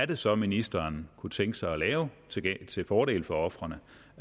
det så er ministeren kunne tænke sig at lave til fordel for ofrene